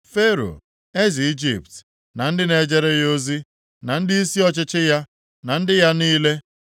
Fero, eze Ijipt, na ndị na-ejere ya ozi, na ndịisi ọchịchị ya, na ndị ya niile,